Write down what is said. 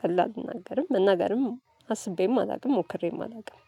ቀልድ እልናገርም መናገርም አስቤም አላውቅም ሞክሬም አላውቅም።